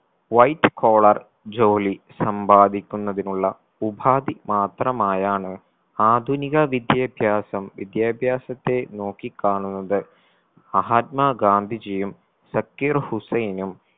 white collar ജോലി സമ്പാദിക്കുന്നതിനുള്ള ഉപാധി മാത്രമായാണ് ആധുനിക വിദ്യാഭ്യാസം വിദ്യാഭ്യാസത്തെ നോക്കി കാണുന്നത് മഹാത്മാ ഗാന്ധിജിയും സക്കീർ ഹുസൈനും